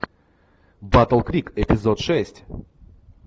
батл крик эпизод шесть